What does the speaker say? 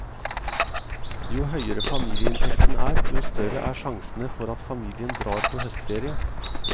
Jo høyere familieinntekten er, jo større er sjansene for at familien drar på høstferie.